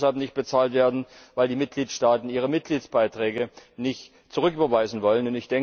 Die können deshalb nicht bezahlt werden, weil die Mitgliedstaaten ihre Mitgliedsbeiträge nicht zurücküberweisen wollen.